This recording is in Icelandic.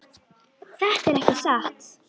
Þetta er ekki satt!